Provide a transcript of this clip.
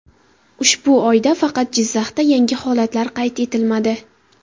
Ushbu oyda faqat Jizzaxda yangi holatlar qayd etilmadi.